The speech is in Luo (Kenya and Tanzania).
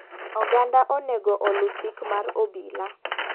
Oganda onego olu chik mar obila.